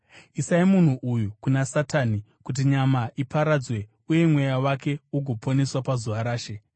isai munhu uyu kuna Satani, kuti nyama iparadzwe uye mweya wake ugoponeswa pazuva raShe.